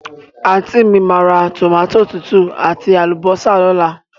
Àntí mi máa ra tòmátò tútù àti àlùbọ́sà lóla